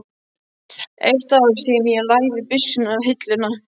Eitt ár síðan ég lagði byssuna á hilluna.